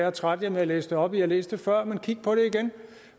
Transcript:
at trætte jer med at læse det op i har læst det før men kig på det igen